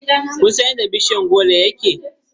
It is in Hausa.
Kun san yadda bishiyar goro yake kama?